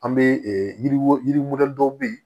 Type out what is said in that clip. An bɛ yiriw yirimɛli dɔw bɛ yen